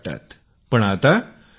तो पैश्यांमुळे सुरक्षित अनुभव करतो आहे